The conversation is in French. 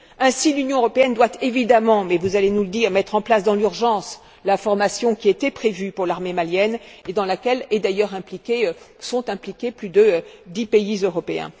Ainsi l'Union européenne doit évidemment, mais vous allez nous le dire, mettre en place dans l'urgence la formation qui était prévue pour l'armée malienne et dans laquelle sont d'ailleurs impliqués plus de dix pays européens.